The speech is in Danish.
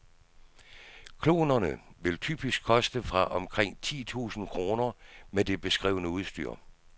Klonerne vil typisk koste fra omkring ti tusind kroner med det beskrevne udstyr.